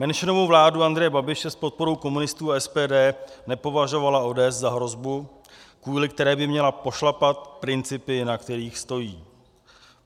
Menšinovou vládu Andreje Babiše s podporou komunistů a SPD nepovažovala ODS za hrozbu, kvůli které by měla pošlapat principy, na kterých stojí.